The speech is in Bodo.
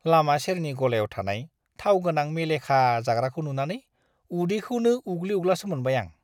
लामा सेरनि गलायाव थानाय थाव गोनां मेलेखा जाग्राखौ नुनानै उदैखौनो उग्लि-उग्लासो मोनबाय आं।